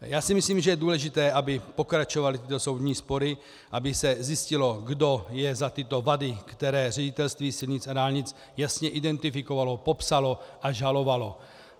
Já si myslím, že je důležité, aby pokračovaly tyto soudní spory, aby se zjistilo, kdo je za tyto vady, které Ředitelství silnic a dálnic jasně identifikovalo, popsalo a žalovalo.